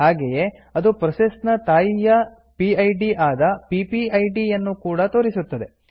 ಹಾಗೆಯೇ ಅದು ಪ್ರೋಸೆಸ್ ನ ತಾಯಿಯ ಪಿಡ್ ಆದ ಪಿಪಿಐಡಿ ಯನ್ನು ಕೂಡಾ ತೋರಿಸುತ್ತದೆ